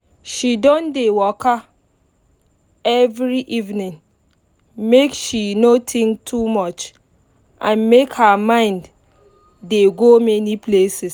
she don dey waka every evening make she no think too much and make her mind dey go many places